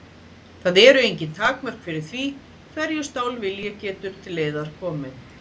Það eru engin takmörk fyrir því hverju stálvilji getur til leiðar komið.